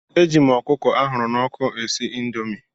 Eji m ọkụkọ ahụrụ n'ọkụ esi indomi.